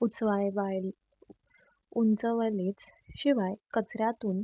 उंचवले शिवाय कचऱ्यातून